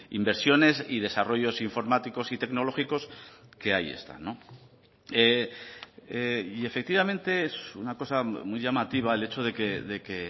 inversiones y desarrollos informáticos y tecnológicos que ahí están y efectivamente es una cosa muy llamativa el hecho de que